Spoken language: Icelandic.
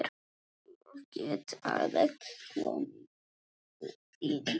Ég get alveg komið inn.